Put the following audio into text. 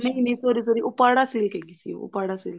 ਨਹੀਂ ਨਹੀਂ sorry sorry ਉਪਾੜਾ silk ਹੈਗੀ ਸੀ ਉਪਾੜਾ silk